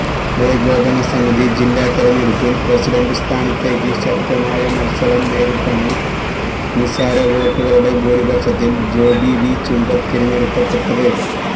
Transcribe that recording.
ഏകോപന സമിതി ജില്ലാതിരഞ്ഞെടുപ്പില് പ്രസിഡന്റ് സ്ഥാനത്തേക്ക് ശക്തമായ മല്സരം നേരിട്ടാണ് നിസാര വോട്ടുകളുടെ ഭൂരിഭക്ഷത്തില് ജോബി വി ചുങ്കത്ത് തിരഞ്ഞെടുക്കപ്പെട്ടത്